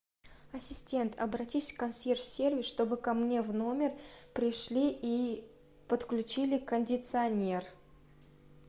ассистент обратись в консьерж сервис чтобы ко мне в номер пришли и подключили кондиционер